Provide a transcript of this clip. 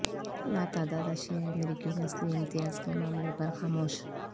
لاتعداد ایشیائی امریکی نسلی امتیاز کے معاملے پر خاموش